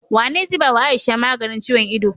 Wane zai bawa aisha maganin ciyon ido?